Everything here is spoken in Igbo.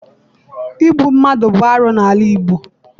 Igbu mmadụ bụ arụ n'ala Igbo.